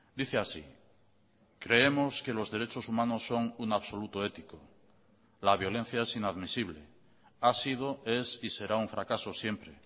dice así creemos que los derechos humanos son un absoluto ético la violencia es inadmisible ha sido es y será un fracaso siempre